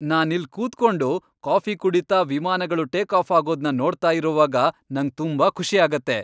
ನಾನಿಲ್ಲ್ ಕೂತ್ಕೊಂಡು ಕಾಫಿ ಕುಡೀತಾ ವಿಮಾನಗಳು ಟೇಕಾಫ್ ಆಗೋದ್ನ ನೋಡ್ತಾ ಇರುವಾಗ ನಂಗ್ ತುಂಬಾ ಖುಷಿ ಆಗತ್ತೆ.